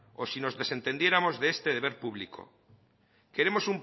o si nos desentendiéramos de este deber público queremos